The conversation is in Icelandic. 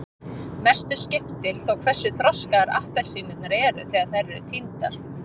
mestu skiptir þó hversu þroskaðar appelsínurnar eru þegar þær eru tíndar